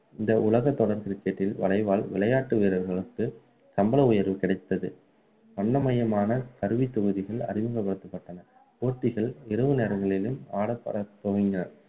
இந்த உலக தொடர் cricket டில் வளைவால் விளையாட்டு வீரர்களுக்குசம்பள உயர்வு கிடைத்தது வண்ணமயமான கருவித்தொகுதிகள் அறிமுகப்படுத்தப்பட்டன போட்டிகள் இரவு நேரங்களிலும் ஆடத்துவங்கினர்